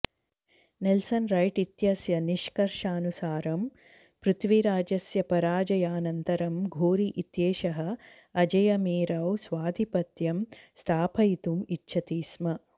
Nelson Wright इत्यस्य निष्कर्षानुसारं पृथ्वीराजस्य पराजयानन्तरं घोरी इत्येषः अजयमेरौ स्वाधिपत्यं स्थापयितुम् इच्छति स्म